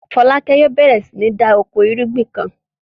Fọlákẹ́ yóò bẹ̀rẹ̀ sí ní da oko ìrúgbìn kan.